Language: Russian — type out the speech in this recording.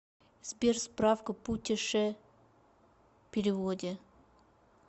сбер справка путеше переводе